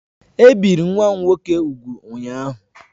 E biri nwa m nwoke úgwù ụnyaahụ